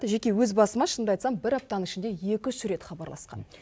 жеке өз басыма шынымды айтсам бір аптаның ішінде екі үш рет хабарласқан